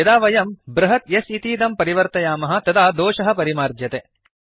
यदा वयं बृहत् S इतीदं परिवर्तयामः तदा दोषः परिमार्ज्यते